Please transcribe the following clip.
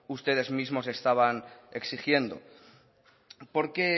ustedes mismos estaban exigiendo porque